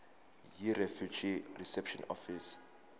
yirefugee reception office